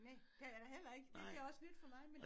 Næh det har jeg da heller ikke det det er også nyt for mig men